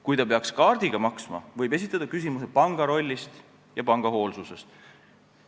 Kui ta peaks kaardiga maksma, võib esitada küsimuse panga rolli ja panga hoolsuse kohta.